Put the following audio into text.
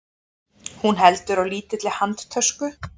Hún heldur á lítilli handtösku.